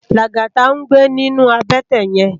Lagata n gbé ninú àbètè yèn